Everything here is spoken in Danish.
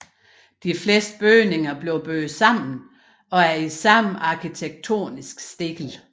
De fleste bygninger blev bygget sammen og er i samme arkitekttonisk stil